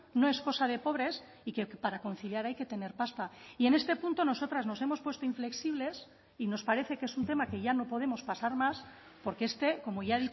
no es cosa de pobres y que para conciliar hay que tener pasta y en este punto nosotras nos hemos puesto inflexibles y nos parece que es un tema que ya no podemos pasar más porque este como ya